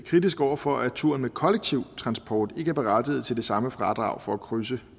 kritisk over for at turen med kollektiv transport ikke er berettiget til det samme fradrag for at krydse